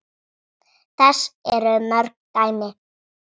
Þess eru mörg dæmi.